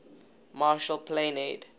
marshall plan aid